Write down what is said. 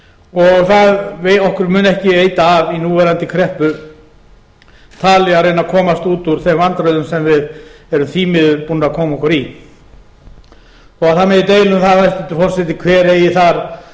uppi tekjum og okkur mun ekki veita af í núverandi kreppu að komast út úr þeim vandræðum sem við erum því miður búin að koma okkur í þó það megi deila um það hæstvirtur forseti hver eigi þar